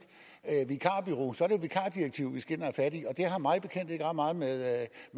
vikarbureau så er vikardirektivet vi skal ind og have fat i og det har mig bekendt ikke ret meget med